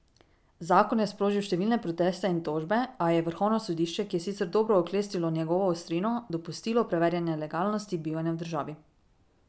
Zakon je sprožil številne proteste in tožbe, a je vrhovno sodišče, ki je sicer dobro oklestilo njegovo ostrino, dopustilo preverjanje legalnosti bivanja v državi.